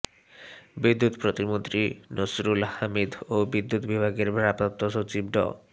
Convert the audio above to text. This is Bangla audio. বিদ্যুৎ প্রতিমন্ত্রী নসরুল হামিদ ও বিদ্যুৎ বিভাগের ভারপ্রাপ্ত সচিব ড